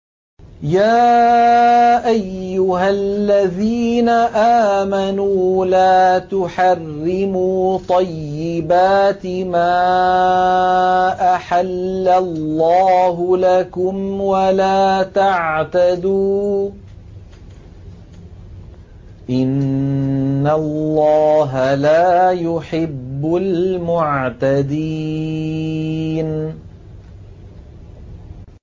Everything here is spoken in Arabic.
يَا أَيُّهَا الَّذِينَ آمَنُوا لَا تُحَرِّمُوا طَيِّبَاتِ مَا أَحَلَّ اللَّهُ لَكُمْ وَلَا تَعْتَدُوا ۚ إِنَّ اللَّهَ لَا يُحِبُّ الْمُعْتَدِينَ